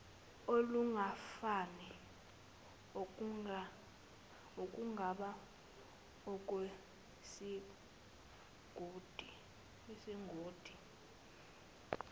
olungafani okungaba olwesigodi